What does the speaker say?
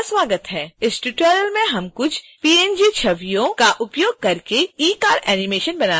इस ट्यूटोरियल में हम कुछ png छवियों का उपयोग करके ecard animation बनाना सीखेंगे